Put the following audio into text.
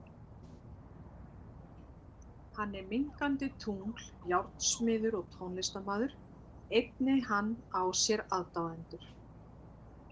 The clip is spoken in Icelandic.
Hann er minnkandi tungl, járnsmiður og tónlistarmaður, einnig hann á sér aðdáendur.